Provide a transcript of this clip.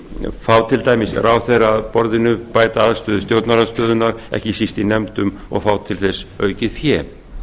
fá til dæmis ráðherra að borðinu bæta aðstöðu stjórnarandstöðunnar ekki síst í nefndum og fá til þess aukið fé